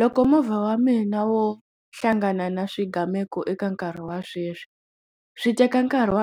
Loko movha wa mina wo hlangana na swigameko eka nkarhi wa sweswi swi teka nkarhi wa